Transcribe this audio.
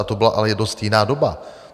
A to byla ale dost jiná doba.